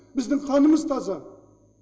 біздің қанымыз таза